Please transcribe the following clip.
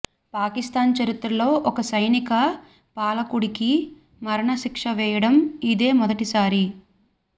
పాకిస్తాన్ చరిత్రలో ఒక సైనిక పాలకుడికి మరణశిక్ష వేయడం ఇదే మొదటిసారి